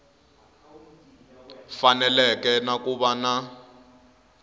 faneleke na ku va na